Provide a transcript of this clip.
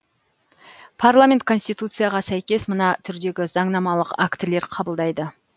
парламент конституцияға сәйкес мына түрдегі заңнамалық актілер қабылдайды